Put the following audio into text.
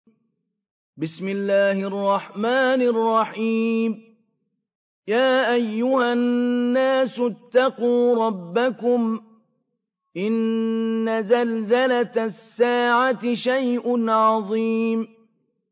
يَا أَيُّهَا النَّاسُ اتَّقُوا رَبَّكُمْ ۚ إِنَّ زَلْزَلَةَ السَّاعَةِ شَيْءٌ عَظِيمٌ